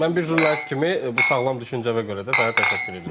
Mən bir jurnalist kimi bu sağlam düşüncəyə görə də sənə təşəkkür edirəm.